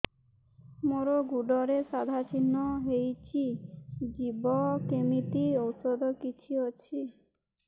ମୋ ଗୁଡ଼ରେ ସାଧା ଚିହ୍ନ ହେଇଚି ଯିବ କେମିତି ଔଷଧ କିଛି ଅଛି